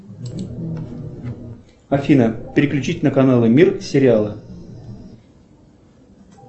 афина переключить на каналы мир сериалы